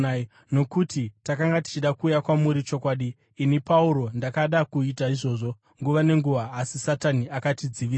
Nokuti takanga tichida kuuya kwamuri, chokwadi, ini Pauro, ndakada kuita izvozvo, nguva nenguva, asi Satani akatidzivisa.